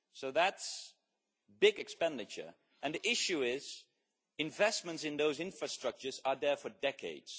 That is big expenditure, and the issue is that investments in those infrastructures are there for decades.